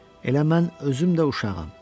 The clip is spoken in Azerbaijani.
Elə mən özüm də uşağam.